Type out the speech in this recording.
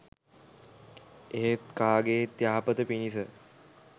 එහෙත් කාගේත් යහපත පිණිස